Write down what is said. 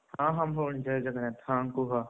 ହଁ ହଁ ଭଉଣୀ ଜୟ ଜଗନ୍ନାଥ ହଁ କୁହ,